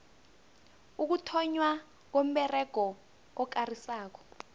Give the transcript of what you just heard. ukuthonnywa komberego okarisako